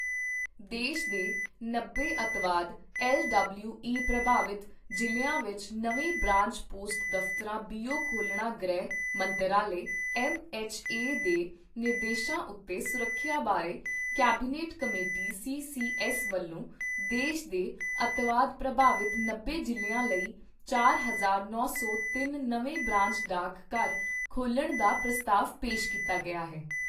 ਦੇਸ਼ ਦੇ ਨੱਬੇ ਅੱਤਵਾਦ ਐੱਲ ਡਬਲਯੂ ਈ ਪ੍ਰਭਾਵਤ ਜ਼ਿਲ੍ਹਿਆਂ ਵਿੱਚ ਨਵੇਂ ਬ੍ਰਾਂਚ ਪੋਸਟ ਦਫਤਰਾਂ ਬੀਓ ਖੋਲ੍ਹਣਾ ਗ੍ਰਹਿ ਮੰਤਰਾਲੇ ਐੱਮ ਐੱਚ ਏ ਦੇ ਨਿਰਦੇਸ਼ਾਂ ਉੱਤੇ ਸੁਰੱਖਿਆ ਬਾਰੇ cabinet committee C C S ਵੱਲੋਂ ਦੇਸ਼ ਦੇ ਅੱਤਵਾਦ ਪ੍ਰਭਾਵਿਤ ਨੱਬੇ ਜਿਲ੍ਹਿਆਂ ਲਈ ਚਾਰ ਹਜ਼ਾਰ ਨੌ ਸੌ ਤਿੰਨ ਨਵੇਂ ਬ੍ਰਾਂਚ ਡਾਕ ਘਰ ਖੋਲ੍ਹਣ ਦਾ ਪ੍ਰਸਤਾਵ ਪੇਸ਼ ਕੀਤਾ ਗਿਆ ਹੈ।